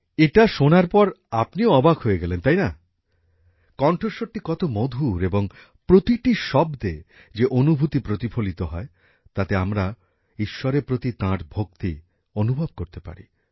এটা শোনার পর আপনিও অবাক হয়ে গেলেন তাই না কন্ঠস্বরটি কত মধুর এবং প্রতিটি শব্দে যে অনুভূতি প্রতিফলিত হয় তাতে আমরা ঈশ্বরের প্রতি তাঁর ভক্তি অনুভব করতে পারি